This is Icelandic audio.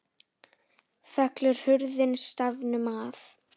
Fellur hurðin stafnum að.